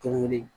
Tuguni